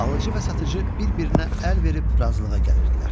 Alıcı və satıcı bir-birinə əl verib razılığa gəlirdilər.